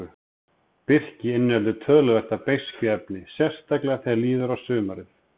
Birki inniheldur töluvert af beiskjuefni, sérstaklega þegar líður á sumarið.